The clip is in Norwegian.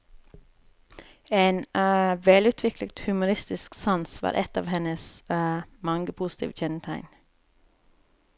En velutviklet humoristisk sans var ett av hennes mange positive kjennetegn.